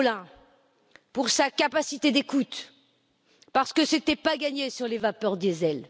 M. Rolin pour sa capacité d'écoute, parce que ce n'était pas gagné sur les vapeurs diesel.